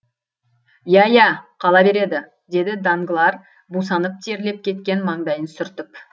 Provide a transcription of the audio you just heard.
иә иә қала береді деді данглар бусанып терлеп кеткен маңдайын сүртіп